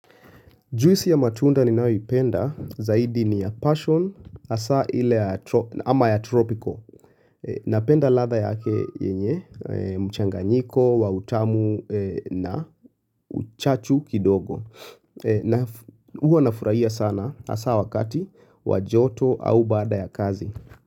Juisi ya matunda ninaoipenda zaidi ni ya passion hasa ile ama ya tropico. Napenda ladha yake yenye mchanganyiko, wa utamu na uchachu kidogo. Huwa nafurahia sana hasa wakati wa joto au baada ya kazi.